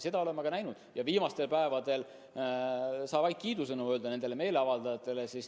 Seda olen ma ka näinud ja viimastel päevadel saab vaid kiidusõnu öelda nendele meeleavaldajatele.